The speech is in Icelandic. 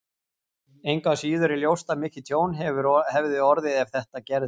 Engu að síður er ljóst að mikið tjón hefði orðið ef þetta gerist.